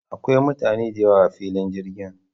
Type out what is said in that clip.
Akwai mutane da yawa a filin jirgin.